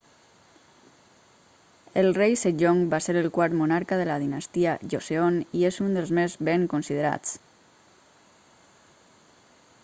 el rei sejong va ser el quart monarca de la dinastia joseon i és un dels més ben considerats